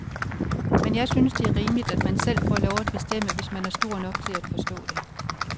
Men jeg synes, det er rimeligt, at man selv får lov at bestemme, hvis man er stor nok til at forstå det.